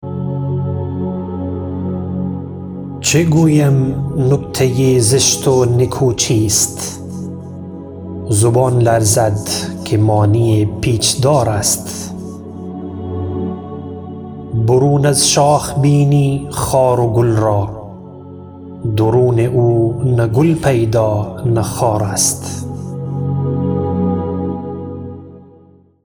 چه گویم نکته زشت و نکو چیست زبان لرزد که معنی پیچدار است برون از شاخ بینی خار و گل را درون او نه گل پیدا نه خار است